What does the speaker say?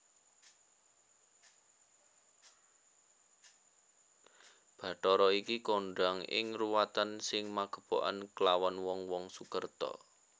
Bathara iki kondhang ing ruwatan sing magepokan klawan wong wong sukerta